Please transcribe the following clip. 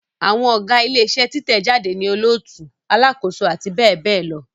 Àwọn Ọ̀gá ilé iṣẹ́ títẹ̀ jáde ni olóòtú, alákòóso àti bẹ́ẹ̀ bẹ́ẹ̀ lọ